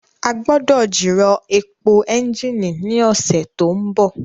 A gbọ́dọ̀ jìrọ̀ èpò ẹ́ńjìnì ní ọ̀sẹ̀ tó ń bọ̀